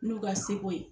N'u ka seko ye